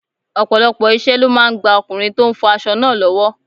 Ọ̀pọ̀lọpọ̀ iṣẹ́ ló máa ń gba ọkùnrin tó ń fọ aṣọ náà lọ́wọ́.